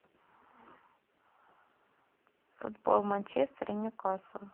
футбол манчестер и ньюкасл